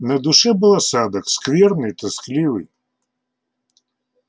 на душе был осадок скверный тоскливый